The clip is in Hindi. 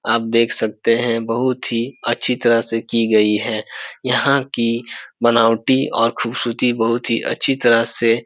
आप देख सकते हैं बहुत ही अच्छी तरह से की गई है यहाँ की बनावटी और खूबसूरती बहुत ही अच्छी तरह से।